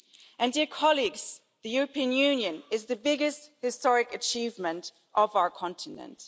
And, dear colleagues, the European Union is the biggest historic achievement of our continent.